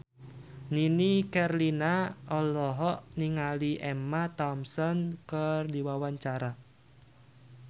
Nini Carlina olohok ningali Emma Thompson keur diwawancara